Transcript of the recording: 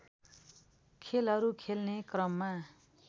खेलहरू खेल्ने क्रममा